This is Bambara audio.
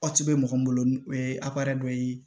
bɛ mɔgɔ min bolo o ye dɔ ye